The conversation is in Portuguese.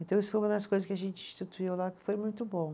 Então isso foi uma das coisas que a gente instituiu lá, que foi muito bom.